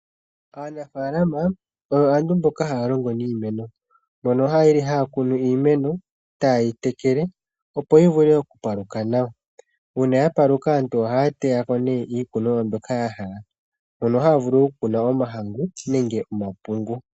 Aanafalama oyo aantu mboka haya longo niimeno mbono yeli haya kunu iimeno etaye yi tekele opo yi vule oku paluka nawa. Uuna ya paluka aantu ohaya teyako nee iikunomwa mbyoka ya hala mono haya vulu oku koka omahangu nenge omapungu.